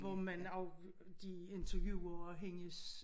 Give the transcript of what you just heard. Hvor man af de interviewer hendes